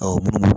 munnu